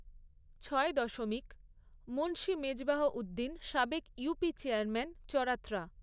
ছয় দশমিক মুন্সি মেজবাহউদ্দিন সাবেক ইউপি চেয়ারম্যান চরআএা